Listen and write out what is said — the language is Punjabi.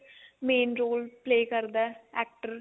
main role play ਕਰਦਾ actor